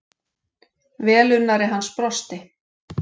Velunnari hans brosti.